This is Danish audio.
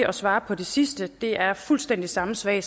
at svare på det sidste det er fuldstændig samme svar